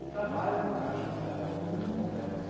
O trabalho do Cacho era um trabalho muito complexo.